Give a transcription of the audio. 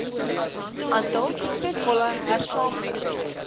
aantal suksesvolle hersaamge